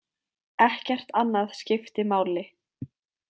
Ekkert annað skipti máli.